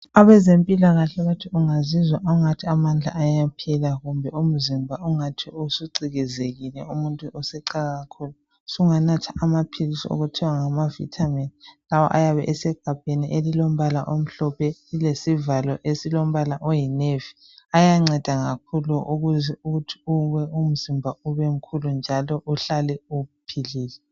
Abezempilakahle bathi ungazizwa ungathi amandla ayaphela kumbe umzimba ungathi usucikizekile umuntu esecake kakhulu sunganatha amaphilisi okuthiwa ngamavitamin lawo ayabe esegabheni elilombala omhlophe lilesivalo esilombala oyi navy ayanceda kakhulu ukuze umzimba ube mkhulu njalo uhlale uphilile